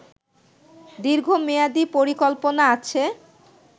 দীর্ঘ মেয়াদী পরিকল্পনা আছে